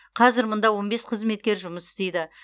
қазір мұнда он бес қызметкер жұмыс істейді